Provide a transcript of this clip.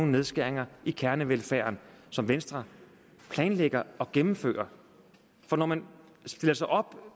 nedskæringer i kernevelfærden som venstre planlægger at gennemføre når man stiller sig op